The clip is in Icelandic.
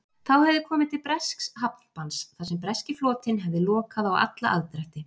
Þá hefði komið til bresks hafnbanns þar sem breski flotinn hefði lokað á alla aðdrætti.